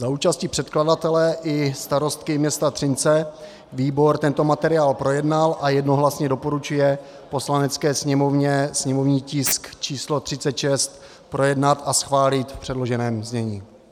Za účasti předkladatele i starostky města Třince výbor tento materiál projednal a jednohlasně doporučuje Poslanecké sněmovně sněmovní tisk číslo 36 projednat a schválit v předloženém znění.